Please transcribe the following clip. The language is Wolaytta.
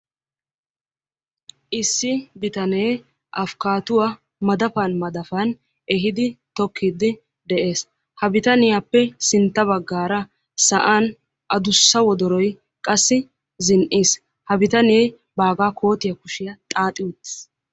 Issi bitanee afkkatuwa madapan madapan ehiidi tokkidi de'ees. Ha bitaniyaappe sintta baggaara sa'an addussa wodoroy qassi zin"iis. Ha bitanee baaga koottiya kushiyaa xaaxi uttiis.